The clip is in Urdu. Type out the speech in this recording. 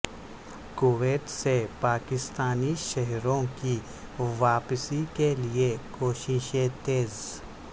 کویت سے پاکستانی شہریوں کی واپسی کے لیے کوششیں تیز